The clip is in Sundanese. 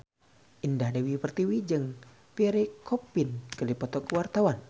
Indah Dewi Pertiwi jeung Pierre Coffin keur dipoto ku wartawan